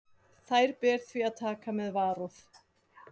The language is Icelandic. Þær ber því að taka með varúð.